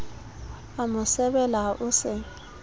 a mo sebela o se